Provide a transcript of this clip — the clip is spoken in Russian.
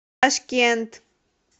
ташкент